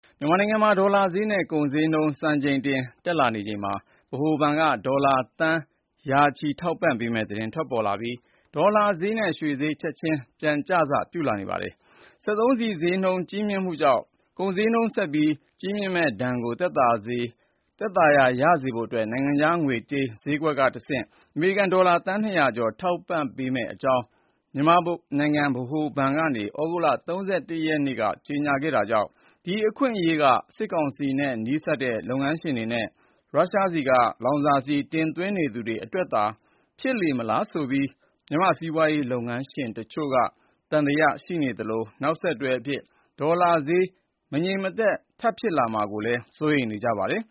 မြန်မာနိုင်ငံမှာ ဒေါ်လာဈေးနဲ့ ကုန်ဈေးနှုန်း စံချိန်တင် တက်လာချိန်မှာ ဗဟိုဘဏ်က ဒေါ်လာသန်း ရာချီ ထောက်ပံ့ပေးမယ့် သတင်း ထွက်လာပြီး ဒေါ်လာဈေးနဲ့ ရွှေဈေး ချက်ချင်း ပြန်ကျစ ပြုလာပါတယ်။ စက်သုံးဆီဈေးနှုန်း ကြီးမြင့်မှုကြောင့် ကုန်ဈေးနှုန်း ကြီးမြင့်မှုဒဏ်ကို သက်သာရာရစေဖို့ နိုင်ငံခြားငွေကြေးဈေးကွက်ကတဆင့် အမေရိကန်ဒေါ်လာ သန်း ၂၀၀ ကျော် ထောက်ပံ့ပေးမယ့်အကြောင်း မြန်မာနိုင်ငံ ဗဟိုဘဏ်က သြဂုတ်လ ၃၁ ရက်နေ့က ကြေညာခဲ့တာကြောင့် ဒါဟာ စစ်ကောင်စီနဲ့ နီးစပ်သူ လုပ်ငန်းရှင်တွေနဲ့ ရုရှားဆီက လောင်စာဆီ တင်သွင်းရေးအတွက်သာ ဖြစ်လေမလားလို့လည်း တချို့က သံသယ ရှိနေပြီး နောက်ဆက်တွဲ ဒေါ်လာဈေး မတည်မငြိမ် ဆက် ဖြစ်လာမှာကို စိုးရိမ်နေကြပါတယ်